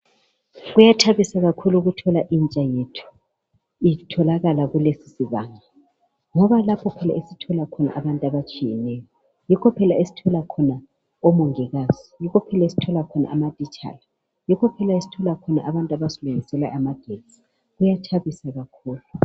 Kuyathabisa kakhulu ukuthola intsha yethu itholakala kulesisibanga ngoba lapho phela esithola khona abantu abatshiyeneyo. Yikho phela esithola khona omongikazi, amatitshala labantu abasilungisela amagetsi. Kuyathabisa kakhulu